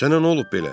Sənə nə olub belə?